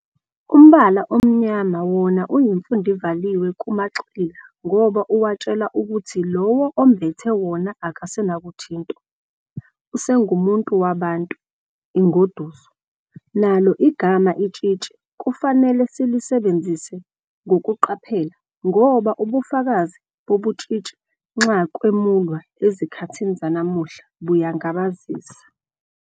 Umbala omnyama wona uyimfundivaliwe kumaxila ngoba uwatshela ukuthi Iowo ombethe wona akasenakuthintwa, usengumuntu wabantu, ingoduso. Nalo igama itshitshi kufanele silisebenzise ngokuqaphela ngoba ubufakazi bobutshitshi nxa kwemulwa ezikhathini zanamuhla buyangabazisa.